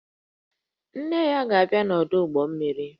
Nne ya ga-abia n'ọdụ ụgbọ mmiri